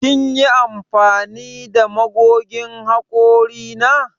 Kin yi amfani da magogin hakori na?